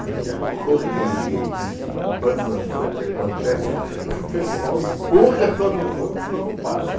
Porque a correria que fica, o banzanzan que acontece, lá o pessoal empurra todo mundo que senão não passa.